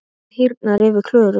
Það hýrnar yfir Klöru.